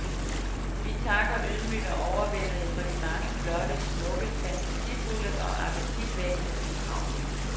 Vi takker ydmygt og overvældede for de mange flotte, smukke, fantasifulde og appetitvækkende bidrag.